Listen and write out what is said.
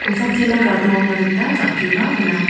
kosakchina gadoangna gita jang·keba gnang.